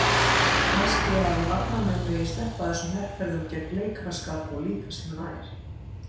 Kannski að varnarmenn megi sleppa þessum herferðum gegn leikaraskap og líta sér nær?